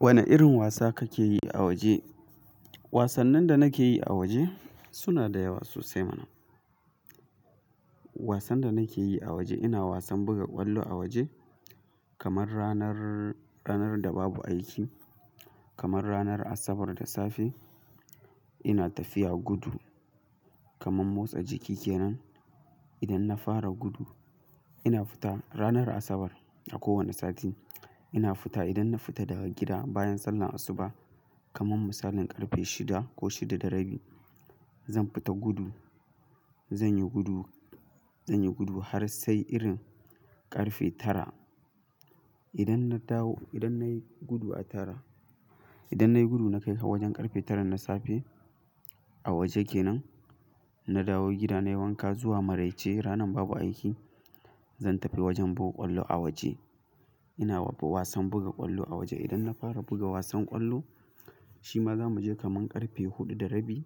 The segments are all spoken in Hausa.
Wane irin wasa kake yi a waje? Wasannin da nake yi a waje suna da yawa sosai mana. Wasan da nake yi a waje ina wasan buga ƙwallo a waje kamar ranar, ranar da babu aiki, kamar ranar Asabar da safe ina tafiya gudu kamar motsa jiki kenan. Idan na fara gudu ina fita ranar Asabar a kowane sati ina fita idan na fita daga gida bayan sallar asuba kamar misalin ƙarfe shida ko shida da rabi zan fita gudu. Zan yi gudu, zan yi gudu har sai irin ƙarfe tara. Idan na dawo, idan nayi gudu a tara, idan nayi gudu na kai har wajen ƙarfe tara na safe a waje kenan, na dawo gida nayi wanka zuwa maraice ranar babu aiki zan tafi wajen buga ƙwallo a waje. Ina wasan buga ƙwallo a waje idan na fara buga wasan ƙwallo shima zamu je kamar ƙarfe huɗu da rabi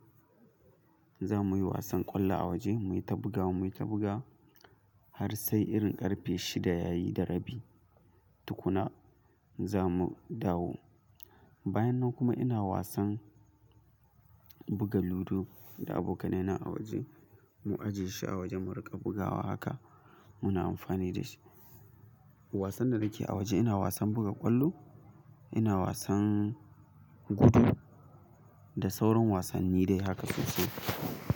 zamuyi wasan ƙwallo a waje muyi ta bugawa muyi ta bugawa har sai irin ƙarfe shida yayi da rabi tukuna zamu dawo. Bayan nan kuma ina wasan buga ludo da abokanai na a waje mu ajiye shi a waje mu riƙa bugawa haka muna amfani da shi. Wasan da nake a waje ina wasan buga ƙwallo, ina wasan gudu da sauran wasanni dai haka sosai.